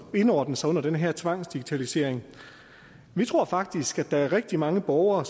indordne sig under den her tvangsdigitalisering vi tror faktisk at der er rigtig mange borgere